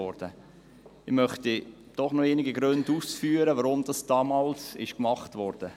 Ich möchte doch noch einige Gründe aufführen, weshalb dies damals gemacht wurde.